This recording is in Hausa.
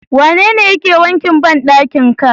Wanene yake wankin bandakin ka?